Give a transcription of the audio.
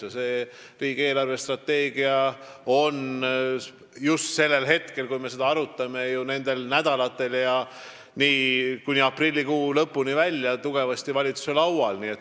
Ja riigi eelarvestrateegia on just nüüd – nendel nädalatel ja kuni aprilli lõpuni välja – valitsuses arutelul.